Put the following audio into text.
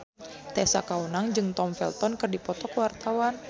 Tessa Kaunang jeung Tom Felton keur dipoto ku wartawan